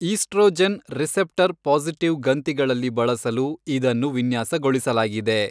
Oestrogen receptor positive ಗಂತಿಗಳಲ್ಲಿ ಬಳಸಲು ಇದನ್ನು ವಿನ್ಯಾಸಗೊಳಿಸಲಾಗಿದೆ.